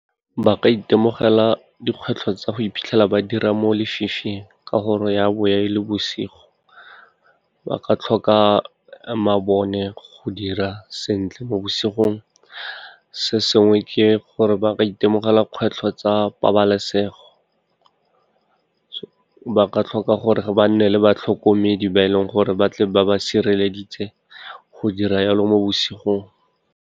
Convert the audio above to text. Ba ka itemogela dikgwetlho tsa go iphitlhela ba dira mo lefifing, ka gore ya bo e le bosigo. Ba ka tlhoka mabone go dira sentle mo bosigong, se sengwe ke gore ba ka itemogela kgwetlho tsa pabalesego, ba ka tlhoka gore ba nne le batlhokomedi ba e leng gore batle ba ba sireleditse go dira jalo mo bosigong.